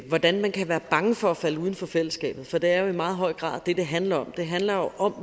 hvordan man kan være bange for at falde uden for fællesskabet for det er jo i meget høj grad det det handler om det handler jo om